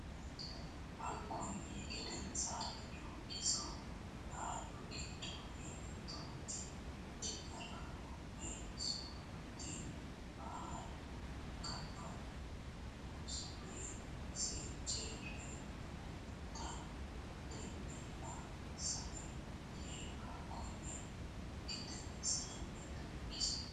Hakkonni gedensaanni Doogiso Lalu gide intoti digaraho woy so rote ballo ka a ooso ya seejji reemmona tennella saie yii Hakkonni gedensaanni Doogiso.